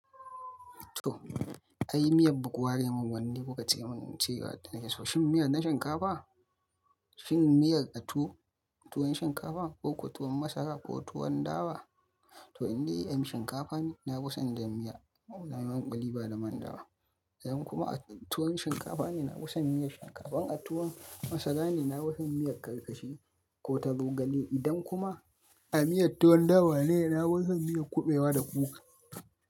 To, ai miyar buku ware mun wanne kuka ce mun cewa na keso. Shin miyar na shinkafa? Shin miyar a tuwon shinkafa ko ko tuwon masara ko tuwon dawa? To in dai ana shinkafa ne, na fison jan miya. Na yi man ƙuli ba da man dawa. Idan kuma a tuwon shinkafa ne, na fusan miyar shinkafa, in a tuwon masara ne, na fusan miyar karkashi ko ta zogale. Idan kuma a miyar tuwon dawa ne, na fusan miyan kuɓewa da kuka.